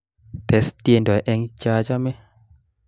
Tes tiendo eng chachame